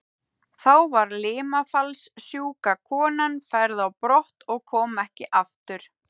Þá var limafallssjúka konan færð á brott og kom ekki aftur.